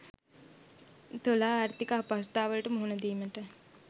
තුලා ආර්ථික අපහසුතාවලට මුහුණ දීමට